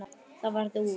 Það varð úr.